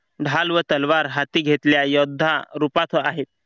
ढाल व तलवार हाती घेतल्या योद्धा रूपात आहे.